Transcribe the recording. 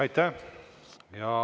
Aitäh!